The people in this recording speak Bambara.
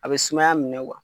A bɛ sumaya minɛ wa?